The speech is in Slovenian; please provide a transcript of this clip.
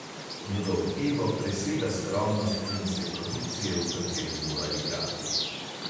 Njegov ego presega skromnost filmske produkcije, v kateri mora igrati.